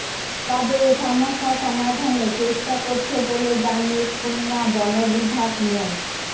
তবে এ সমস্যা সমাধানে চেষ্টা করছে বলে জানিয়ে খুলনা বন বিভাগ মো